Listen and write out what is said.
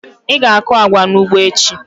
Ị ga-akụ agwa n'ugbo echi!